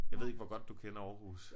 Jeg ved ikke hvor godt du kender Aarhus